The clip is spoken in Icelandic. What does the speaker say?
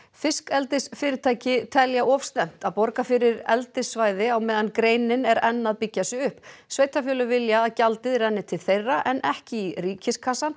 fiskeldisfyrirtæki telja of snemmt að borga fyrir eldissvæði á meðan greinin er enn að byggja sig upp sveitarfélög vilja að gjaldið renni til þeirra en ekki í ríkiskassann